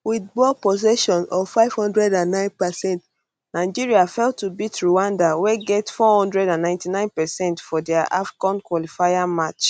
wit ball possession of five hundred and nine percent nigeria fail to beat rwanda wey get four hudred and ninety nine percent for dia afcon qualifier match